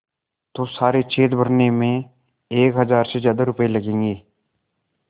तो सारे छेद भरने में एक हज़ार से ज़्यादा रुपये लगेंगे